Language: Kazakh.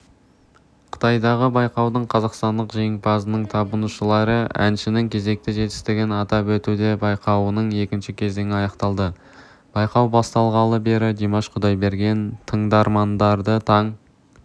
қытайдағы байқаудың қазақстандық жеңімпазының табынушылары әншінің кезекті жетістігін атап өтуде байқауының екінші кезеңі аяқталды байқау басталғалы бері димаш кұдайберген тыңдармандарды таң